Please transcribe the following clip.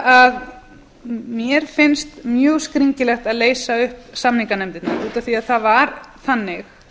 að mér finnst mjög skringilegt að leysa upp samninganefndirnar út af því að það var þannig